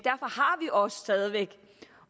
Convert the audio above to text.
og stadig væk